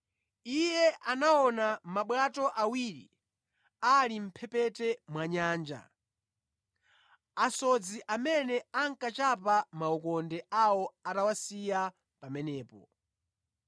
Iye anaona mabwato awiri ali mʼmphepete mwa nyanja, asodzi amene ankachapa makhoka awo atawasiya pamenepo.